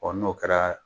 n'o kɛra